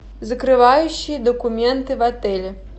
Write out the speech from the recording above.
закрывающие документы в отеле